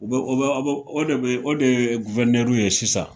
U be o bɛ a bo o de be o dee w ye sisan